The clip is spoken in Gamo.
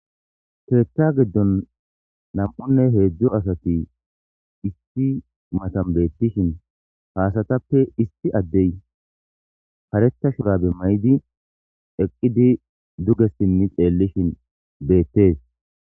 Keeta giddon nam7unne heedzdzo asati isti matan beettishin haasatappe isti addey pareta shurabe may7di eqqidi duge simmi xeellishin beettees.